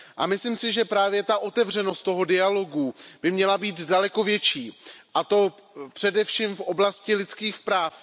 Myslím si, že právě ta otevřenost dialogu by měla být daleko větší, a to především v oblasti lidských práv.